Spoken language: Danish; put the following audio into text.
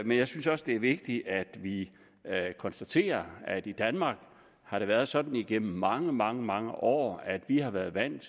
jeg synes også det er vigtigt at vi konstaterer at i danmark har det været sådan igennem mange mange mange år at vi har været vant